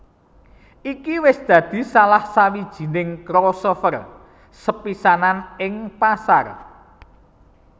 Iki wis dadi salah sawijining crossover sepisanan ing pasar